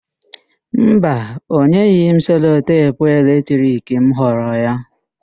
Mba, ọ nyeghị m selotepu eletrik m ghọrọ ya.